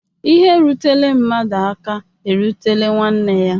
lhe rutere mmadu aka erutela nwanne ya.